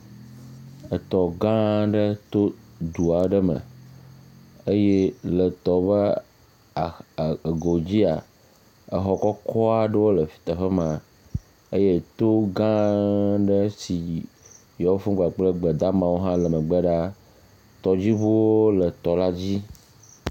Etɔ gã aɖe to le du aɖe me eye etɔ ƒe axa eh ego dzia xɔ kɔkɔ aɖe le teƒe ma. Eye to gã aɖe tsi yi tɔƒu kpakple gbe da ame wo hã le me gbe ɖa. Tɔdziŋuwo le tɔ la dzi